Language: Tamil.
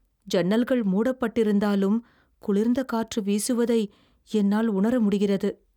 ஜன்னல்கள் மூடப்பட்டிருந்தாலும் குளிர்ந்த காற்று வீசுவதை என்னால் உணர முடிகிறது.